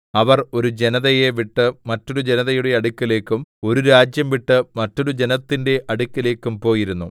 അവർ ഒരു ജനതയെ വിട്ട് മറ്റൊരു ജനതയുടെ അടുക്കലേക്കും ഒരു രാജ്യം വിട്ട് മറ്റൊരു ജനത്തിന്റെ അടുക്കലേക്കും പോയിരുന്നു